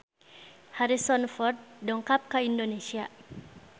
Harrison Ford dongkap ka Indonesia